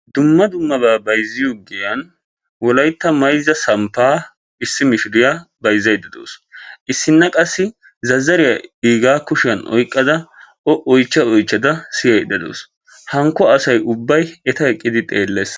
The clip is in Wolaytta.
Dumma dummaba bayzziya giyaan wolaytta mayzza samppa issi mishiriya bayzzaydda de'awusi issi qassi zazzariya iiga kushiyaan oyqqada o oychcha oychchda siyaydde dawusi hinkko asay ubbay eta eqqidi xeelles